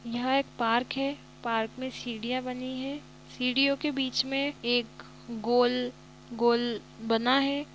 यह एक पार्क है। पार्क में सीढ़िया बनी है। सीढ़ियों के बीच में एक गोल गोल बना है।